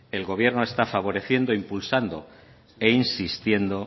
el gobierno está favoreciendo impulsando e insistiendo